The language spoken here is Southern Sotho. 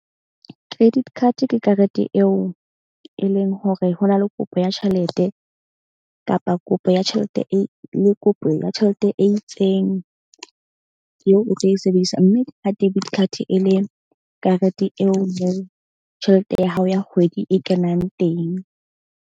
Credit card-e ke karete eo e leng hore ho na le kopo ya tjhelete kapa kopo ya tjhelete e le kopo ya tjhelete e itseng. Eo o tlo e sebedisa mme ka debit card e le karete eo moo tjhelete ya hao ya kgwedi e kenang teng.